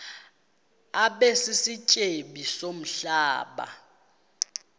abe sisityebi somhlaba